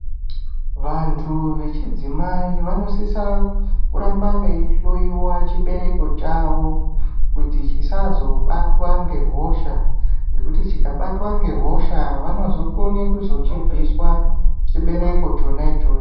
Vantu vechidzimai vanosisa kuramba veihloyiwa chibereko chavo kuti chisazobatwa ngehosha ngekuti chikabatwa ngehosha vanozokone kuzochibviswa chibereko chona ichocho.